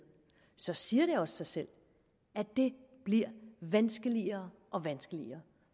så siger det også sig selv at det bliver vanskeligere og vanskeligere